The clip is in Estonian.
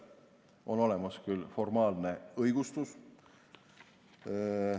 On olemas küll formaalne õigustus.